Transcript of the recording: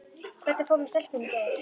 Hvernig fór með stelpuna í gær?